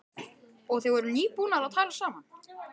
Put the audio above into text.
Karen: Og þið voruð nýbúnir að talast saman?